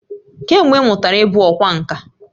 Kee mgbe ị mụtara ịbụ ọkwá nkà?